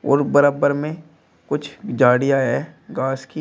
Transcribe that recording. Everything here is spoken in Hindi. और बराबर में कुछ झाड़ियां है घास की।